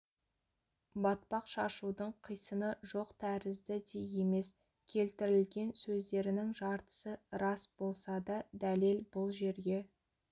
батпақ шашудың қисыны жоқ тәрізді де емес келтірілген сөздерінің жартысы рас болса да дәлел бұл жерге